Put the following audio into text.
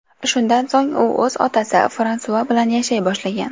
Shundan so‘ng u o‘z otasi Fransua bilan yashay boshlagan.